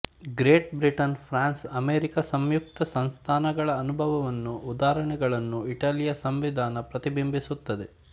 great Britain France America ಸಂಯುಕ್ತ ಸಂಸ್ಥಾನಗಳ ಅನುಭವವನ್ನೂ ಉದಾಹರಣೆಗಳನ್ನೂ ಇಟಲಿಯ ಸಂವಿಧಾನ ಪ್ರತಿಬಿಂಬಿಸುತ್ತದೆ